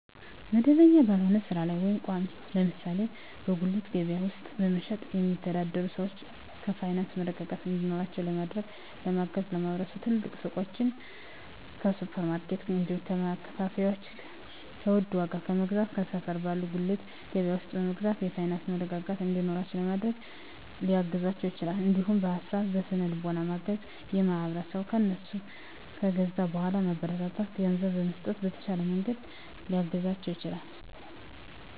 መደበኛ ባልሆነ ስራ ላይ ወይም ቋሚ (ለምሳሌ በጉሊት ገበያ ውስጥ በመሸጥ የሚተዳደሩ ሰዎችን የፋይናንስ መረጋጋት እንዲኖራቸው ለማድረግና ለማገዝ ማህበረሰቡ ከትልልቅ ሱቆች፣ ከሱፐር ማርኬቶች፣ እንዲሁም ከማከፋፈያዎች በውድ ዋጋ ከመግዛት ከሰፈር ባለ ጉሊት ገበያ ውስጥ በመግዛት የፋይናንስ መረጋጋት እንዲኖራቸው ለማድረግ ሊያግዛቸው ይችላል። እንዲሁም በሀሳብ በስነ ልቦና በማገዝ ማህበረሰቡ ከእነሱ ከገዛ በኃላ ማበረታቻ ገንዘብ በመስጠት በተሻለ መንገድ ሊያግዛቸው ይችላል።